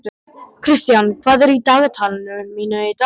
Kristian, hvað er á dagatalinu mínu í dag?